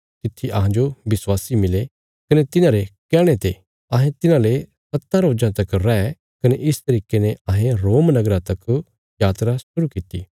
तित्थी अहांजो विश्वासी मिले कने तिन्हांरे कैहणे ते अहें तिन्हांले सत्तां रोजां तक रै कने इस तरिके ने अहें रोम नगरा तक यात्रा शुरु कित्ती